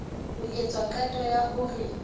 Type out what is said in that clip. ho etswa qeto ya hore